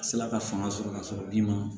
A se la ka fanga sɔrɔ ka sɔrɔ bin ma